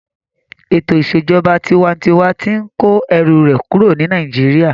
Ètò ìṣèjọba tinwatinwa tí n kó ẹrù rẹ̀ kúrò ní Nàìjíríyà